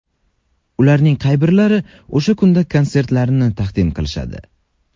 Ularning qay birlari o‘sha kunda konsertlarini taqdim qilishadi ?